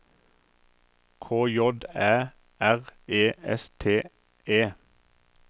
K J Æ R E S T E